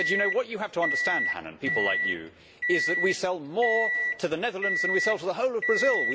He said What you have to understand, Hannan, people like you, is that we sell more to the Netherlands than we sell to the whole of Brazil.